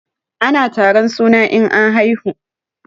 Ana taron suna in an haihu.